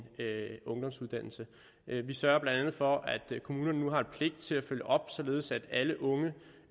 ungdomsuddannelse vi sørger blandt andet for at kommunerne nu har en pligt til at følge op således at alle unge